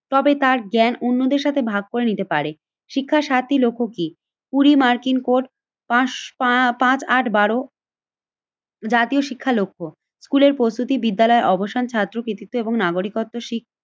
তবে তার জ্ঞান অন্যদের সাথে ভাগ করে নিতে পারে। শিক্ষার সাতটি লক্ষ্য কি? কুড়ি মার্কিন কোট পাঁস পা পাঁচ আট বারো জাতীয় শিক্ষা লক্ষ্য। স্কুলের প্রস্তুতি বিদ্যালয়ে অবসান ছাত্র কৃতিত্ব এবং নাগরিকত্ব শি